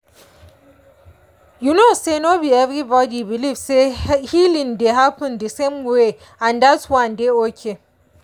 you know say no be everybody believe say healing dey happen the same way and dat one dey okay.